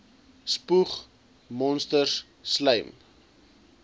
spoeg monsters slym